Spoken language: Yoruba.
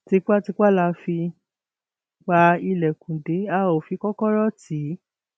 tipàtìpá la fi pa ilẹkùn dé a ó fi kọkọrọ tì í